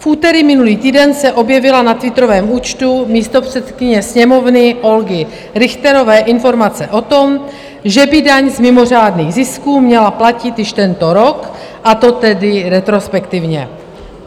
V úterý minulý týden se objevila na twitterovém účtu místopředsedkyně Sněmovny Olgy Richterové informace o tom, že by daň z mimořádných zisků měla platit již tento rok, a to tedy retrospektivně.